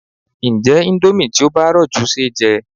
Ǹjé indomie tí ó bá rọ̀ jù ṣeéjẹ?